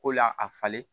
Ko la a falen